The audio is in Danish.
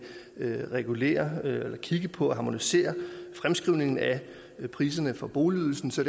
regulere eller kigge på at harmonisere fremskrivningen af priserne for boligydelsen så